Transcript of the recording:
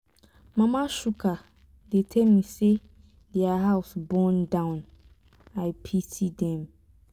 mama chuka dey tell me say their house burn down. i pity dem.